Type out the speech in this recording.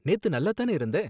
நேத்து நல்லாத் தானே இருந்த?